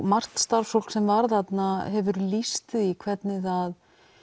margt starfsfólk sem var þarna hefur lýst því hvernig það